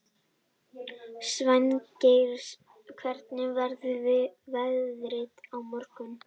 Svangeir, hvernig verður veðrið á morgun?